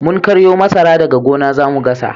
Mun karyo masara daga gona zamu gasa